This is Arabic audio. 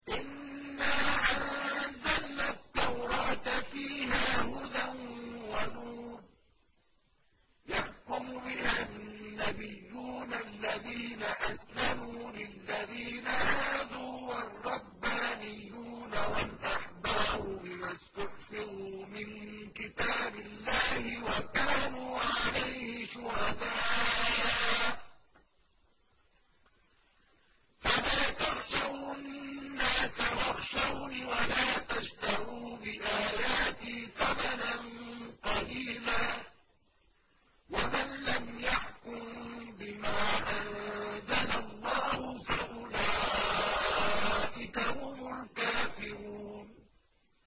إِنَّا أَنزَلْنَا التَّوْرَاةَ فِيهَا هُدًى وَنُورٌ ۚ يَحْكُمُ بِهَا النَّبِيُّونَ الَّذِينَ أَسْلَمُوا لِلَّذِينَ هَادُوا وَالرَّبَّانِيُّونَ وَالْأَحْبَارُ بِمَا اسْتُحْفِظُوا مِن كِتَابِ اللَّهِ وَكَانُوا عَلَيْهِ شُهَدَاءَ ۚ فَلَا تَخْشَوُا النَّاسَ وَاخْشَوْنِ وَلَا تَشْتَرُوا بِآيَاتِي ثَمَنًا قَلِيلًا ۚ وَمَن لَّمْ يَحْكُم بِمَا أَنزَلَ اللَّهُ فَأُولَٰئِكَ هُمُ الْكَافِرُونَ